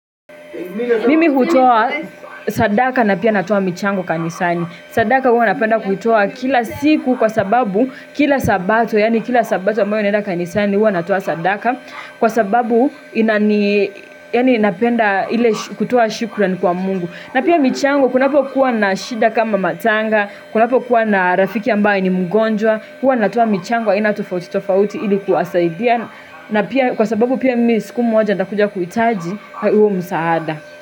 Mimi hutoa sadaka na pia natoa michango kanisani. Sadaka huwa napenda kutoa kila siku kwa sababu kila sabato yaani kila sabato ambayo naenda kanisani huwa natoa sadaka kwa sababu inani yaani napenda ile kutoa shukran kwa mungu. Na pia michango, kunapokuwa na shida kama matanga, kunapokuwa na rafiki ambaye ni mgonjwa, huwa natoa michango aina tofauti tofauti ili kuwasaidia, na pia kwa sababu pia mimi siku moja nitakuja kuhitaji, huo msaada.